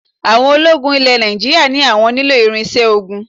Àwọn ológun ilẹ̀ Nàìjíríà ní àwọn nílò irinṣẹ́ ogun